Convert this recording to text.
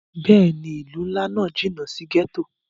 Bẹ́ẹ̀ni, ilu nla náa jinna si gẹto.